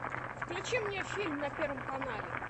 включи мне фильм на первом канале